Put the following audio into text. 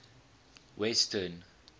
western